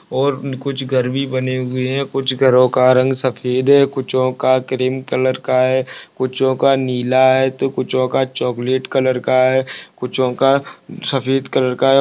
और म कुछ घर भी बने हुए कुछ घरों का रंग सफेद है कुछ ओ का क्रीम कलर का है कुछ ओ का नीला है तो कुछ ओ का चॉकलेट कलर का है कुछ ओ का सफेद कलर का है।